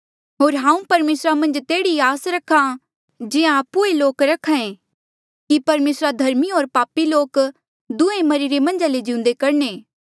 होर हांऊँ परमेसरा मन्झ तेहड़ी ई आस करहा जिहां आपु ऐें लोक रख्हा ऐें कि परमेसरा धर्मी होर पापी लोक दुहें मरिरे मन्झ ले जिउंदे करणे